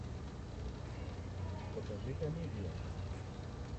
покажи комедию